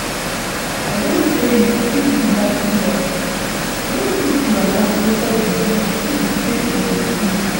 I don tell you if you like hear. No put your hand inside juju unto say e dey kill